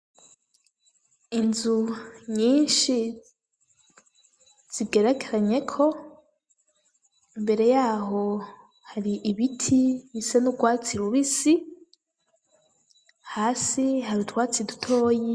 Inzu nyishi zigerekeranyeko imbere yaho hari ibiti bisa n'urwatsi rubisi hasi hari utwatsi dutoyi.